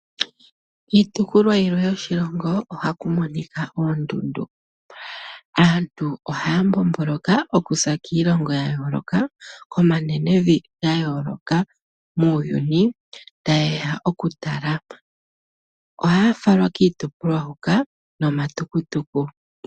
Kiitopolwa yilwe yoshilongo ohaku monika oondundu. Aantu ohaya mbomboloka okuza kiilongo ya yooloka, komanenevi ga yooloka muuyuni taye ya okutala. Ohaya falwa kiitopolwa mbika niitukutuku.